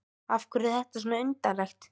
Af hverju er þetta undarlegt?